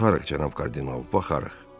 Baxarıq, cənab kardinal, baxarıq.